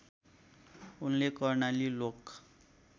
उनले कर्णाली लोक